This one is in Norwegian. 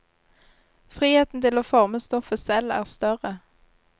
Friheten til å forme stoffet selv er større.